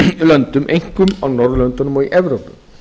löndum einkum á norðurlöndunum og í evrópu